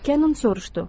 Kennon soruşdu: